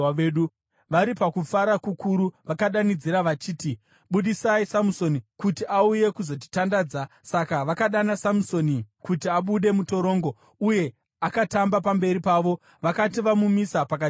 Vari pakufara kukuru, vakadanidzira vachiti, “Budisai Samusoni kuti auye kuzotitandadza.” Saka vakadana Samusoni kuti abude mutorongo, uye akatamba pamberi pavo. Vakati vamumisa pakati pembiru,